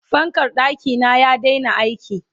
fankar ɗakina ya Daina aiki